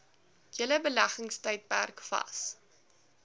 hele beleggingstydperk vas